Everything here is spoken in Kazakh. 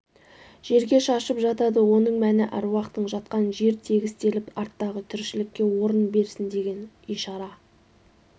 жерге шашып жатады оның мәнс аруақтың жатқан жер тегістеліп арттағы тіршілікке орын берсін деген ишара